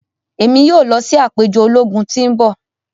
Emi yoo lọ si apejọ ologun ti n bọ.